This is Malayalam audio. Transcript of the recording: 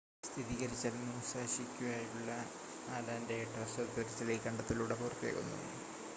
സ്ഥിരീകരിച്ചാൽ മുസാഷിക്കായുള്ള അലൻ്റെ എട്ട് വർഷത്തെ തിരച്ചിൽ ഈ കണ്ടെത്തലിലൂടെ പൂർത്തിയാകുന്നു